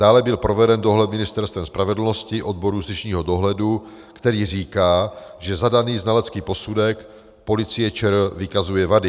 Dále byl proveden dohled Ministerstvem spravedlnosti, odboru justičního dohledu, který říká, že zadaný znalecký posudek Policie ČR vykazuje vady.